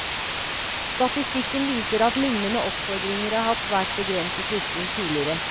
Statistikken viser at lignende oppfordringer har hatt svært begrenset virkning tidligere.